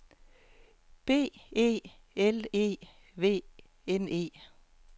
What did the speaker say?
B E L E V N E